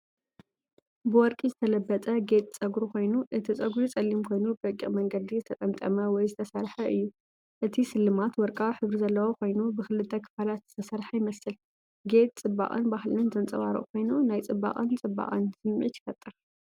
ብወርቂ ዝተለበጠ ጌጽ ጸጉሪ ኮይኑ፡ እቲ ጸጉሪ ጸሊም ኮይኑ ብረቂቕ መንገዲ ዝተጠምጠመ ወይ ዝተሰርሐ እዩ። እቲ ስልማት ወርቃዊ ሕብሪ ዘለዎ ኮይኑ ብኽልተ ክፋላት ዝተሰርሐ ይመስል። ጌጽ ጽባቐን ባህልን ዘንጸባርቕ ኮይኑ፡ ናይ ጽባቐን ጽባቐን ስምዒት ይፈጥር።